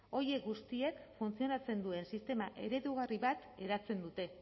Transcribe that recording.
horiek guztiek funtzionatzen duen sistema eredugarri bat eratzen dute